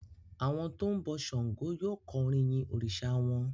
Àwọn tó ń bọ ṣàngó yóò kọ orin yin òrìsà wọn.